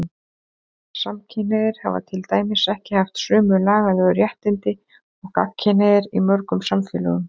Samkynhneigðir hafa til dæmis ekki haft sömu lagalegu réttindi og gagnkynhneigðir í mörgum samfélögum.